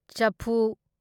ꯆꯐꯨ